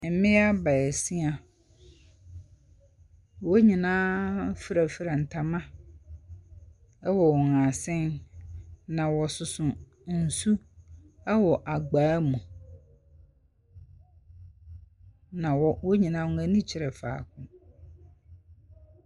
Mmea beesia, wɔn nyina furafura ntama ɛwɔ wɔn asen, na wɔsoso nsu ɛwɔ agbaa mu, na wɔ wɔn nyina wɔn ani kyerɛ faako.